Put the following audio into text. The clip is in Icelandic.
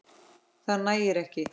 Það nægir ekki.